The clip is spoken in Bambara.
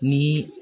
Ni